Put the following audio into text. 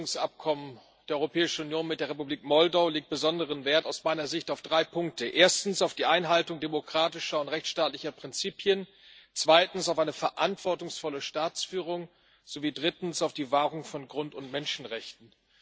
Das Assoziierungsabkommen der Europäischen Union mit der Republik Moldau legt aus meiner Sicht besonderen Wert auf drei Punkte erstens auf die Einhaltung demokratischer und rechtsstaatlicher Prinzipien, zweitens auf eine verantwortungsvolle Staatsführung sowie drittens auf die Wahrung von Grund und Menschenrechten.